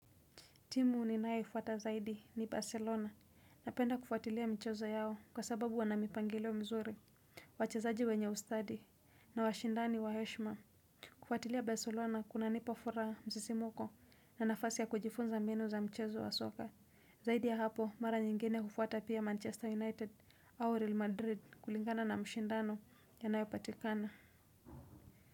Timu ninae kufuata zaidi ni Barcelona napenda kufuatilia mchezo yao kwa sababu wanamipangilio mzuri, wachezaji wenye ustadi na washindani wa heshma. Kufuatilia Barcelona kunanipafura msisimuko na nafasi ya kujifunza mbinu za mchezo wa soka. Zaidi ya hapo mara nyingine hufuata pia Manchester United au Real Madrid kulingana na mshindano anaepatikana.